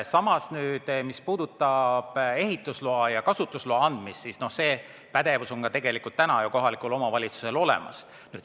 Samas, mis puudutab ehitusloa ja kasutusloa andmist, siis see pädevus on tegelikult kohalikul omavalitsusel juba olemas.